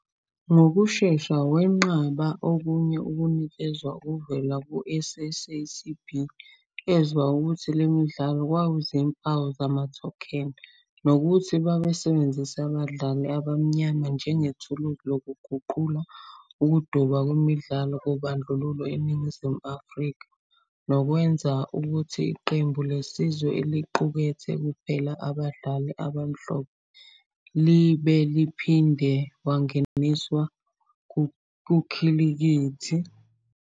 Ngokushesha wenqaba okunye ukunikezwa okuvela kwi-SAACB, ezwa ukuthi le midlalo kwakuyizimpawu zamathokheni, nokuthi babesebenzisa abadlali abamnyama njengethuluzi lokuguqula ukuduba kwezemidlalo kobandlululo eNingizimu Afrika, nokwenza ukuthi iqembu lesizwe, eliqukethe kuphela abadlali abamhlophe, libe uphinde wangeniswa kukhilikithi yamazwe omhlaba.